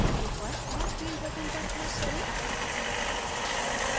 ऊपर add field button पर click करें